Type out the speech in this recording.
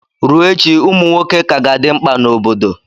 Ruo echi, ụmụ nwoke ka ga-adị mkpa na obodo